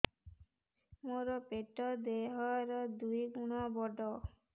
ମୋର ପେଟ ଦେହ ର ଦୁଇ ଗୁଣ ବଡ